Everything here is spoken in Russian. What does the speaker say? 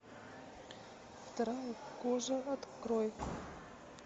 вторая кожа открой